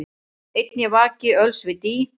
Einn ég vaki öls við dý,